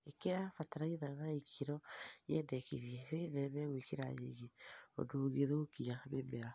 Ĩkĩra bataraitha na ikĩro nyendekithie, wĩtheme gwĩkĩra nyingĩ ũndũ ĩngĩthũkia mĩmera